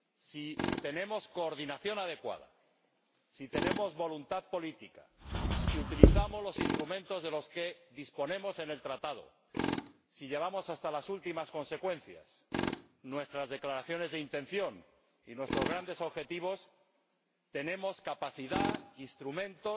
Si tenemos una coordinación adecuada, si tenemos voluntad política, si utilizamos los instrumentos que nos ofrece el Tratado, si llevamos hasta las últimas consecuencias nuestras declaraciones de intención y nuestros grandes objetivos, tenemos capacidad e instrumentos